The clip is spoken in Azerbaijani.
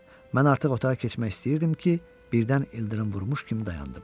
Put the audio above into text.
Mən artıq otağa keçmək istəyirdim ki, birdən ildırım vurmuş kimi dayandım.